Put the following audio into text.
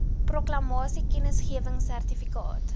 proklamasie kennisgewing sertifikaat